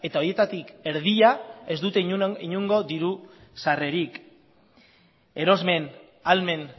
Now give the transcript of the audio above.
horietatik erdia ez dute inongo diru sarrerarik erosmen ahalmen